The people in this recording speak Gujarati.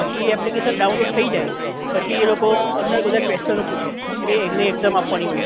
પછી application download થઇ જાય પછી એ લોકો અંદર બધા question ઓ પૂછે એટલે એ રીતે exam આપવાની હોય